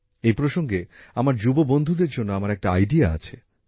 এই প্রসঙ্গে আমার যুবকযুবতী বন্ধুদের জন্য আমার একটা প্রস্তাব আছে